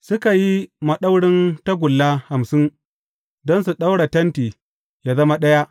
Suka yi maɗaurin tagulla hamsin don su ɗaura tenti yă zama ɗaya.